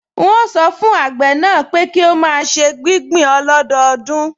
N óò sọ fún àgbẹ̀ náà pé kí ó máa ṣe gbígbìn ọlọ́dọọdún